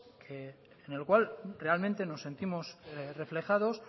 en el cual realmente nos sentimos reflejados